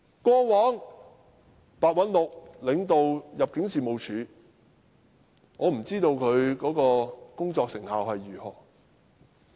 過往白韞六領導入境事務處，我不知道他工作成效如何。